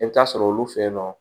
I bɛ taa sɔrɔ olu fe yen nɔ